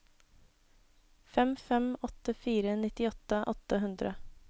fem fem åtte fire nittiåtte åtte hundre